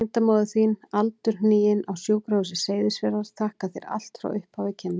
Tengdamóðir þín aldurhnigin, á Sjúkrahúsi Seyðisfjarðar, þakkar þér allt frá upphafi kynna.